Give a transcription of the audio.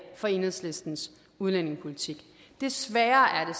for enhedslistens udlændingepolitik desværre er